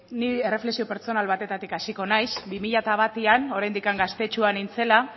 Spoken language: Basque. ni erreflexio pertsonal batetatik hasiko naiz bi mila batean oraindik gaztetxoa nintzela